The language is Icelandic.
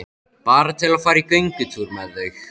Bara til að fara í göngutúr með þau.